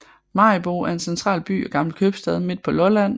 Maribo er en central by og gammel købstad midt på Lolland med